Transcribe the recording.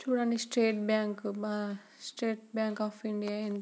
చూడండి state bank state bank of India --